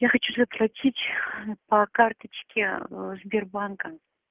я хочу заплатить по карточке ээ сбербанка